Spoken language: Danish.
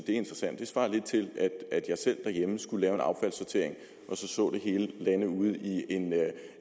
interessant det svarer lidt til at jeg selv derhjemme skulle lave en affaldssortering og så så det hele lande ude i